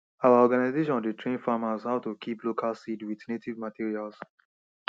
our organisation dey train farmers how to kip local seeds with native materials